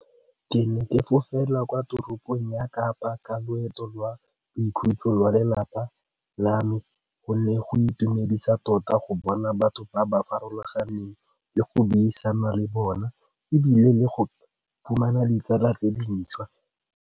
Ke ne ke fofela kwa toropong ya kapa ka loeto lwa boikhutso lwa lelapa la me gonne go itumedisa tota go bona batho ba ba farologaneng le go buisana le bona ebile le go fumana ditsala tse dintšhwa.